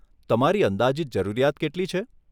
તમારી અંદાજીત જરૂરિયાત કેટલી છે?